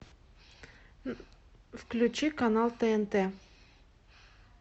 включи канал тнт